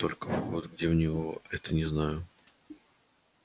только вход где у него это не знаю